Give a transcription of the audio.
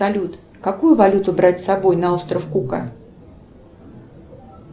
салют какую валюту брать с собой на остров кука